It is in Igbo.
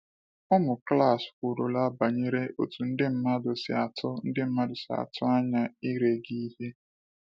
“Ụmụ klas kwurula banyere otú ndị mmadụ si atụ mmadụ si atụ anya ire gị ihe.”